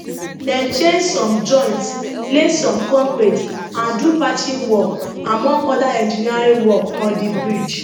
dem change some joints lay some concrete and do patching work among oda engineering work on di bridge